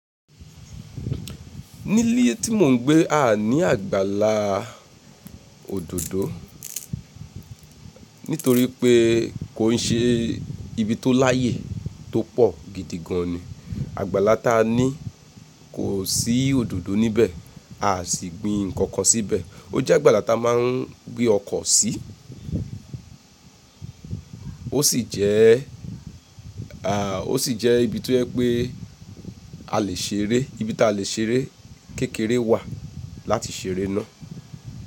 Nílé tí mò ń gbé a ní àgbàlá òdòdó, nítorí pé kò n ṣe ibi tó láyè tó pọ̀ gidi gan ni. Àgbàlá tá a ní kò sí òdòdó níbẹ̀, a sì gbin nǹkan kan síbẹ̀. Ó jẹ́ àgbàlá tá a máa ń gbé ọkọ̀ sí, ó sì jẹ́, à, ó sì jẹ́ ibi tó jẹ pé a lè ṣeré, ibi tá a lè ṣeré kékeré wà láti ṣeré náà.